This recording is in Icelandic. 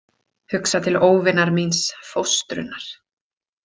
Hugsa til óvinar míns, fóstrunnar.